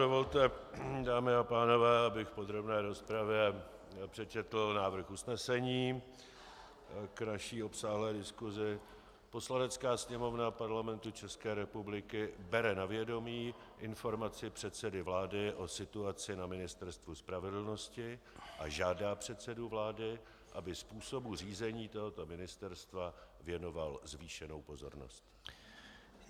Dovolte, dámy a pánové, abych v podrobné rozpravě přečetl návrh usnesení k naší obsáhlé diskusi: "Poslanecká sněmovna Parlamentu České republiky bere na vědomí Informaci předsedy vlády o situaci na Ministerstvu spravedlnosti a žádá předsedu vlády, aby způsobu řízení tohoto ministerstva věnoval zvýšenou pozornost."